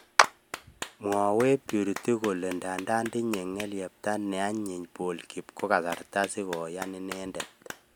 Mwawech purity kole ndandan tinye ngelepta ne anyiny paul kiip kasarta si koyan inendet.